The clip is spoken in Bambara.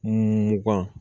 Mugan